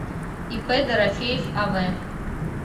ип дорофеев ав